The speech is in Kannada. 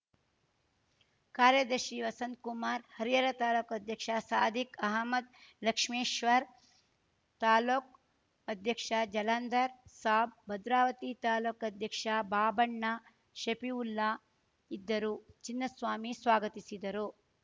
ಕಾರ್ಯದರ್ಶಿ ವಸಂತ್‌ಕುಮಾರ್‌ ಹರಿಹರ ತಾಲೂಕು ಅಧ್ಯಕ್ಷ ಸಾದಿಕ್‌ ಅಹಮದ್‌ ಲಕ್ಷ್ಮೀಶ್ವರ ತಾಲೂಕ್ ಅಧ್ಯಕ್ಷ ಜಲಂದರ್‌ ಸಾಬ್‌ ಭದ್ರಾವತಿ ತಾಲೂಕ್ ಅಧ್ಯಕ್ಷ ಬಾಬಣ್ಣ ಶಫೀವುಲ್ಲಾ ಇದ್ದರು ಚಿನ್ನಸ್ವಾಮಿ ಸ್ವಾಗತಿಸಿದರು